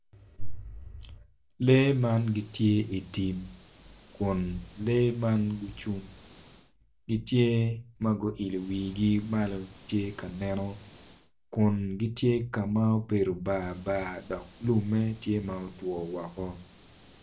Lee man gitye i tim kun lee man gucung gitye ma guilo wigi malo gitye ka neno kun gitye ka ma obedo barbar dok lumme tye ma otwo woko.